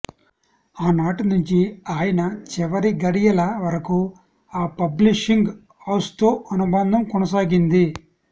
ఆనాటి నుంచి ఆయన చివరి ఘడియల వరకు ఆ పబ్లిషింగ్ హౌస్తో అనుబంధం కొనసాగింది